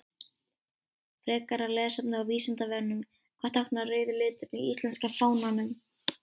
Frekara lesefni á Vísindavefnum: Hvað táknar rauði liturinn í íslenska fánanum?